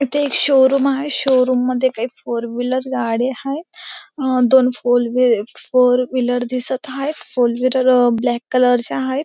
इथे एक शोरूम आहे शोरूम मध्ये काही फोर व्हीलर गाडी हायेत अं दोन फोर व्ही फोर व्हीलर दिसत हायेत फोर व्हीलर ब्लॅक कलर च्या हायेत.